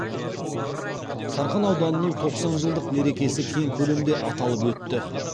сарқан ауданының тоқсан жылдық мерекесі кең көлемде аталып өтті